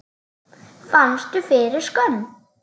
Fannstu fyrir skömm?